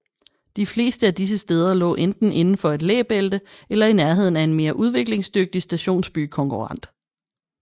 De fleste af disse steder lå enten inden for et læbælte eller i nærheden af en mere udviklingsdygtig stationsbykonkurrent